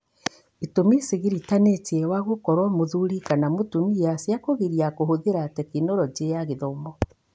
ĩtũmi cĩgiritanĩtie wa gũkorwo mũthuri kama mũtumia cia kũgiria kũhũthĩra Tekinoronjĩ ya Gĩthomo.